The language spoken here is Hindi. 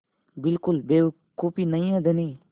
बिल्कुल बेवकूफ़ी नहीं है धनी